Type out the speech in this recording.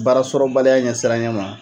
Baara sɔrɔbaliya ɲɛsiranya ma.